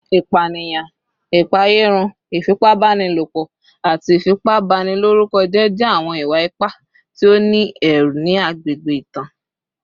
Ipaniyan, ipaeyarun, ifipabanilopo, ati ifipabaniloruko jẹ awọn iwa-ipa ti o ni ẹru ni agbegbe itan